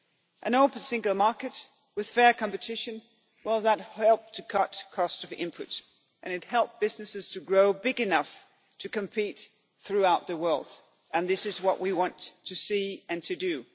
it. An open single market with fair competition, well, that helped to cut the cost of input and it helped businesses to grow big enough to compete throughout the world and this is what we want to see and to